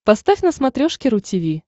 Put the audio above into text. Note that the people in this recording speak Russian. поставь на смотрешке ру ти ви